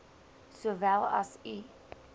sowel as u